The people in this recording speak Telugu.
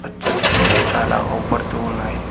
పచ్చని చెట్లు చాలా అవ్పడ్తు వున్నాయ్.